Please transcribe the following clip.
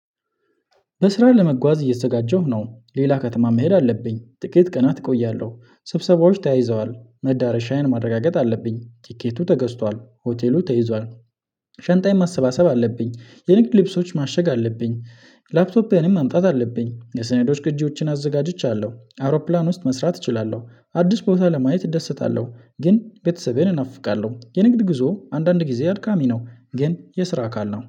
በስራ ለመጓዝ እየተዘጋጀሁ ነው ሌላ ከተማ መሄድ አለብኝ ጥቂት ቀናት እቆያለሁ ስብሰባዎች ተያይዘዋል መዳረሻዬን ማረጋገጥ አለብኝ ቲኬቱ ተገዝቷል ሆቴሉ ተይዟል። ሸንጣዬን ማሰባሰብ አለብኝ የንግድ ልብሶች ማሸግ አለብኝ። ላፕቶፔንም ማምጣት አለብኝ የሰነዶች ቅጂዎችን አዘጋጅቻለሁ አውሮፕላን ውስጥ መስራት እችላለሁ። አዲስ ቦታ ለማየት እደስታለሁ ግን ቤተሰቤን እናፍቃለሁ። የንግድ ጉዞ አንዳንድ ጊዜ አድካሚ ነው ግን የስራ አካል ነው